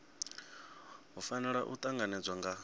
hu fanela u tanganedzwa nga